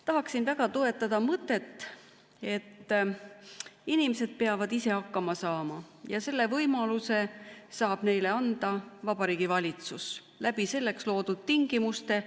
Tahaksin väga toetada mõtet, et inimesed peavad ise hakkama saama ja et selle võimaluse saab neile anda Vabariigi Valitsus selleks loodud tingimuste kaudu.